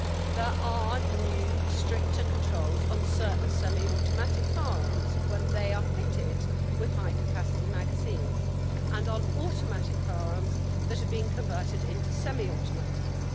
There are new stricter controls on certain semi automatic firearms when they are fitted with high capacity magazines, and on automatic firearms that are being converted into semi automatics.